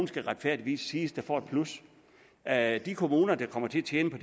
skal retfærdigvis siges der får et plus at de kommuner der kommer til at tjene på